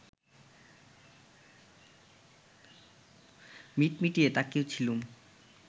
মিটমিটিয়ে তাকিয়েছিলুম